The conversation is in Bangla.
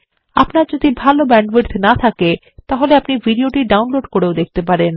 আপনার যদি ভাল ব্যান্ডউইডথ না থাকে আপনি এটি ডাউনলোড করেও দেখতে পারেন